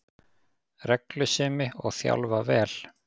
Reglusemi, og þjálfa vel